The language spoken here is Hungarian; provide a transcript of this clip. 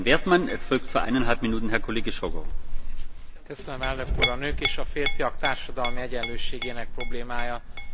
A nők és a férfiak társadalmi egyenlőségének problémája számos kérdést vet fel, több szempontból elemezhető.